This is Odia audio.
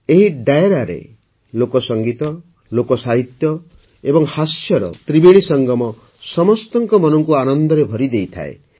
ଏହି ଡାୟରାରେ ଲୋକସଙ୍ଗୀତ ଲୋକସାହିତ୍ୟ ଏବଂ ହାସ୍ୟର ତ୍ରିବେଣୀ ସମସ୍ତଙ୍କ ମନକୁ ଆନନ୍ଦରେ ଭରିଦେଇଥାଏ